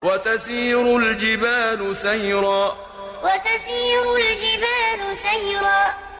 وَتَسِيرُ الْجِبَالُ سَيْرًا وَتَسِيرُ الْجِبَالُ سَيْرًا